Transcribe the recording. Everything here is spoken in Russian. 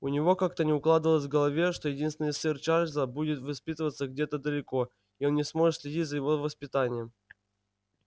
у него как-то не укладывалось в голове что единственный сын чарлза будет воспитываться где-то далеко и он не сможет следить за его воспитанием